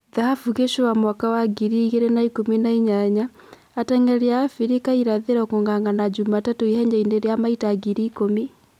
Thahabu Gicũa mwaka wa ngiri igĩrĩ na-ikũmi na-inyanya: Ateng'eri ya Afirika irathĩro kung'ang'ana Jumatatũ ihenyainĩ rĩa mita ngiri ikũmi.